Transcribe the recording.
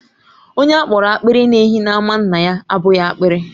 Onye a kpọrọ apiri na_ehi n'ámá nna ya abụghị apiri.